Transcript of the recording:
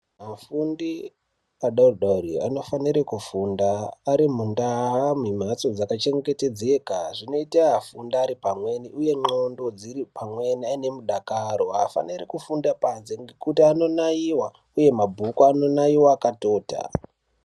Afundi adodori anofanire kufunda ari mundaa mumhatso dzakachengetedzeka zvinota afunde ari pamweni, uye ndxondo dziri pamweni aine mudakaro. Haafaniri kufunda panze ngekuti anonaiva, uye mabhuku anonaiva akatota.